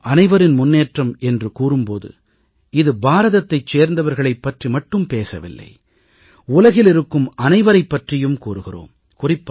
நாம் அனைவரின் முன்னேற்றம் என்று கூறும் போது இது பாரதத்தை சேர்ந்தவர்களைப் பற்றி மட்டும் பேசவில்லை உலகில் இருக்கும் அனைவரைப் பற்றியும் கூறுகிறோம்